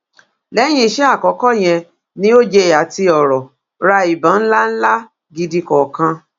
lẹyìn iṣẹ àkọkọ yẹn ni oj àti ọrọ ra ìbọn ńlá ńlá gidi kọọkan